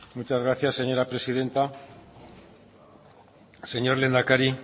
muchas gracias señora presidenta señor lehendakari